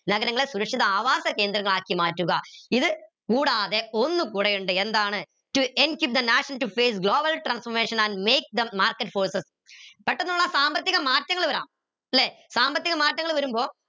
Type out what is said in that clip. നഗരങ്ങളെ സുരക്ഷിത ആവാസ കേന്ദ്രമാക്കി മാറ്റുക ഇത് കൂടാതെ ഒന്നു കൂടെയുണ്ട് എന്താണ് to global transformation and make the market forces പെട്ടന്നുള്ള സാമ്പത്തിക മാറ്റങ്ങൾ വരം ല്ലെ സാമ്പത്തിക മാറ്റങ്ങൾ വരുമ്പോ